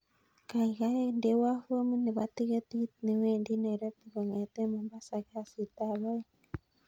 Kaikai ndewon fomit nebo tiketit newendi nairobi kongeten mombasa kasit ab oeing